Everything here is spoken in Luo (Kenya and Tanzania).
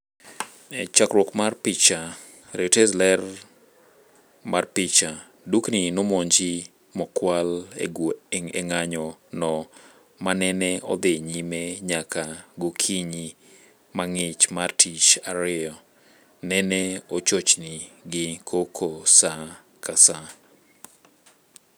Chakruok mar picha, Reuters, ler mar picha, dukni nomonji mokwal e ng'anyo no maa nene odhi nyime nyaka gokinyi mang'ich mar tich ariyo. nene ochochni gi koko saa ka saa